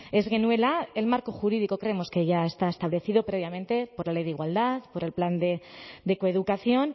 ez genuela el marco jurídico creemos que ya está establecido previamente por la ley de igualdad por el plan de coeducación